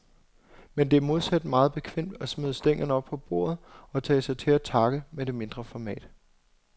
Men det er modsat meget bekvemt at smide stængerne op på bordet og tage sig til takke med det mindre format.